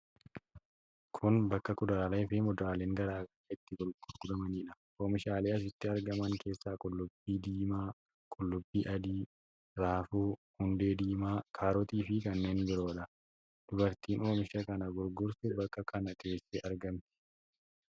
Kun bakka kuduraalee fi muduraaleen garaa garaa itti gurguramidha. Oomishaalee asitti argaman keessaa qullubbii diimaa, qullubbii adii, raafuu, hundee diimaa, kaarotii fi kanneen biroodha. Dubartiin oomisha kana gurgurtu bakka kan teessee argamti.